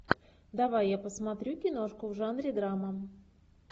давай я посмотрю киношку в жанре драма